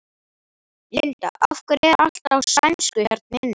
Linda: Af hverju er allt á sænsku hérna inni?